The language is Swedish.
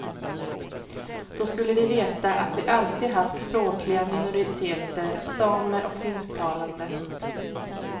Då skulle de veta att vi alltid haft språkliga minoriteter, samer och finsktalande.